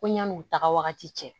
Ko ɲani u taaga wagati cɛ